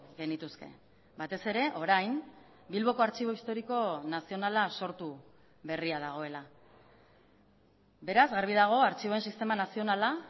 genituzke batez ere orain bilboko artxibo historiko nazionala sortu berria dagoela beraz garbi dago artxiboen sistema nazionala